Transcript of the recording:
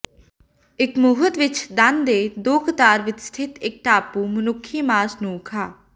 ਇਕ ਮੁਹਤ ਵਿੱਚ ਦੰਦ ਦੇ ਦੋ ਕਤਾਰ ਵਿੱਚ ਸਥਿਤ ਇੱਕ ਟਾਪੂ ਮਨੁੱਖੀ ਮਾਸ ਨੂੰ ਖਾ